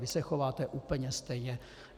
Vy se chováte úplně stejně.